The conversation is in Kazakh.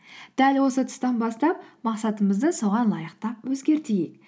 дәл осы тұстан бастап мақсатымызды соған лайықтап өзгертейік